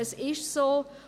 Es ist so.